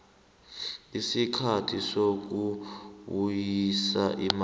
isikhathi sokubuyisa imali